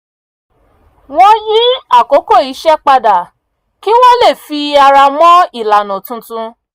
wọ́n yí àkókò iṣẹ́ padà kí wọ́n lè fi ara mọ ilànà tuntun